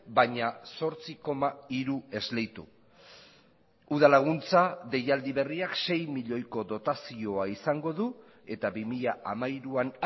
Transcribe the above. baina zortzi koma hiru esleitu udal laguntza deialdi berriak sei milioiko dotazioa izango du eta bi mila hamairuan